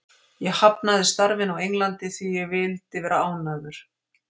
Ég hafnaði starfinu á Englandi því ég vildi vera ánægður.